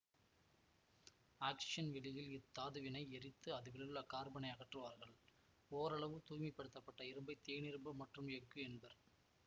ஆக்சிஜன்வெளியில் இத்தாதுவினை எரித்து அதிலுள்ள கார்பனை அகற்றுவார்கள் ஓரளவு தூய்மைப்படுத்தப்பட்ட இரும்பைத் தேனிரும்பு மற்றும் எஃகு என்பர்